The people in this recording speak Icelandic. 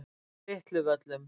Litlu Völlum